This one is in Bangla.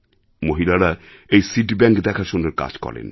মহিলারা এই সিড ব্যাংক দেখাশোনার কাজ করেন